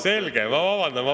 Selge!